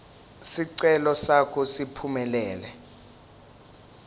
sicelo sakho siphumelele